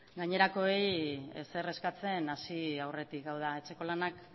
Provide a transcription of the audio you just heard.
gainerakoei ezer eskatzen hasi aurretik hau da etxeko lanak